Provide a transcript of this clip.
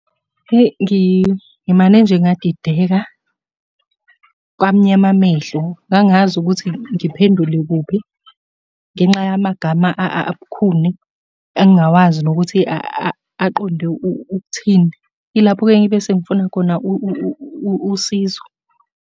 Eyi, ngimane nje ngadideka, kwamnyama amehlo, angangazi ukuthi ngiphendule kuphi, ngenxa yamagama abukhuni engingawazi nokuthi aqonde ukuthini. Ilapho-ke engibe sengifuna khona usizo.